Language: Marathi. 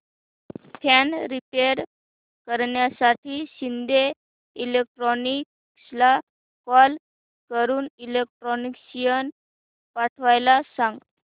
फॅन रिपेयर करण्यासाठी शिंदे इलेक्ट्रॉनिक्सला कॉल करून इलेक्ट्रिशियन पाठवायला सांग